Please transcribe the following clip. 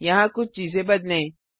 यहाँ कुछ चीजें बदलें